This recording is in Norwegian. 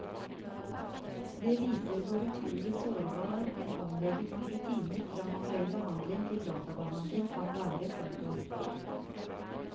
Det viser hvor utrolig sårbar en omlegging av rutiner fra manuell behandling til databehandling kan være. punktum